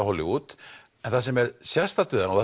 Hollywood en það sem er sérstakt við hana og